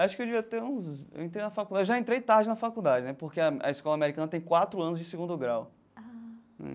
Acho que eu devia ter uns eu entrei na faculdade já entrei tarde na faculdade né, porque a a escola americana tem quatro anos de segundo grau.